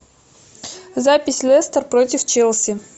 запись лестер против челси